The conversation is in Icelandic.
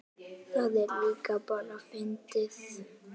Það er líka bara fyndið.